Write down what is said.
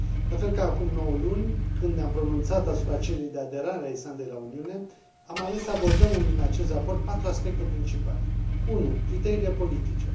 La fel ca acum nouă luni, când ne am pronunțat asupra cererii de aderare a Islandei la Uniune, am ales să abordăm în acest raport patru aspecte principale. 1. Criteriile politice.